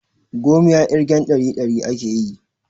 Gomiya ƙirgen ɗari ɗari akeyi